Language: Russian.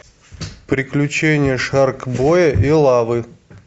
приключения шаркбоя и лавы